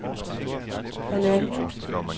halvandet